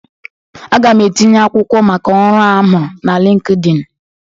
Aga m etinye akwụkwọ maka ọrụ a m hụrụ na LịnkedỊnị.